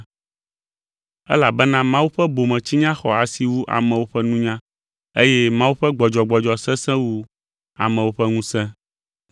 Elabena Mawu ƒe bometsinya xɔ asi wu amewo ƒe nunya eye Mawu ƒe gbɔdzɔgbɔdzɔ sesẽ wu amewo ƒe ŋusẽ.